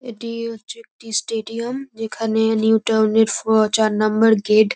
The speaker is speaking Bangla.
এটিও হচ্ছে একটি স্টেডিয়াম যেখানে নিউ টাউন -এর ফো চার নাম্বার গেট ।